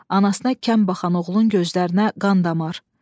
Anasına kəm baxan oğlun gözlərinə qan damar.